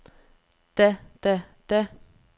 da da da